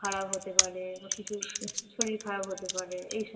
খারাপ হতে পারে বা কিছু শরীর খারাপ হতে পারে এইসব